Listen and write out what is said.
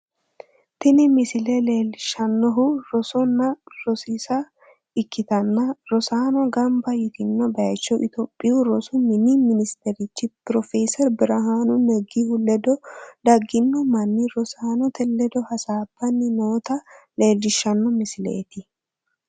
tini misile leellishshannohu rosonna rosiisa ikkitanna, rosaano gamba yitino bayicho itophiyu rosu mini minisiterchi profeeseri birihaanu negihu ledo daggino manni rosaanote ledo hasaabbanni noota leellishshanno misileeti.